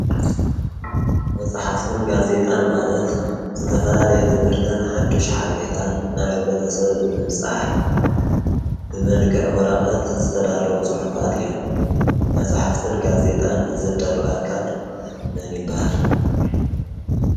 መፅሓፍትን ጋዜጣን ንማለት ዝተፈላለየ ትምህርትን ሓድሽ ሓበሬታን ናብ ሕብረተሰብ ብምብፃሕ ብመልክዕ ወረቀት ዝተዳለዉ ፅሑፋት እዮም ።መፅሓፍተን ጋዜጣን ዘዳሉ ኣካል መን ይበሃል?